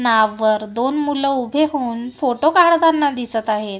नाववर दोन मुलं उभे होऊन फोटो काढताना दिसत आहेत.